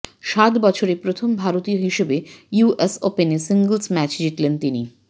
সাত বছরে প্রথম ভারতীয় হিসেবে ইউ এস ওপেনে সিঙ্গলস ম্যাচ জিতলেন তিনি